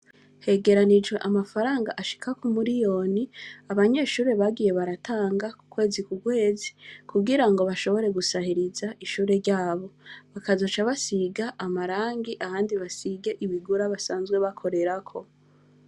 Hegeranijwe amafaranga ashika k,umuriyoni, abanyeshure bagiye baratanga k,ukwezi k,ukwezi kugira ngo bashobore gusahirize ishure ryabo, bakazoca basiga amarangi ahandi basige ibigura basanzwe bakorerako.